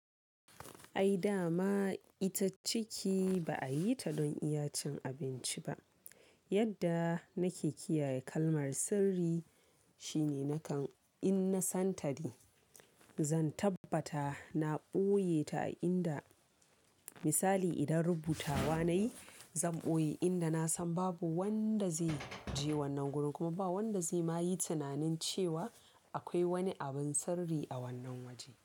Ai dama ita ciki ba a yi ta don iya cin abinci ba. Yadda nake kiyaye kalmar sirri shine nakan in na san ta ne, zan tabbata na ɓoye ta a inda, misali idan rubutawa nayi zan ɓoye inda na san babu wanda zai je wannan gurin kuma ba wanda zai ma yi tunanin cewa akwai wani abun sirri a wannan waje.